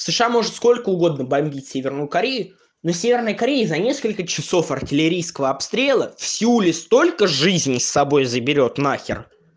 сша может сколько угодно бомбить северную корею но северная корея за несколько часов артиллерийского обстрела в сеуле столько жизни с собой заберёт нахер